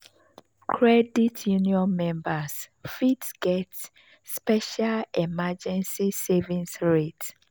credit union members fit get special emergency savings rate.